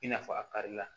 I n'a fɔ a kari la